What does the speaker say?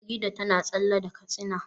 Farida na tsalle da katsina